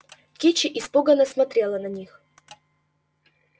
кичи испуганно смотрела на них